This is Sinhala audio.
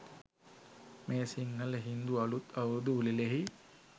මේ සිංහල, හින්දු අලුත් අවුරුදු උළෙලෙහි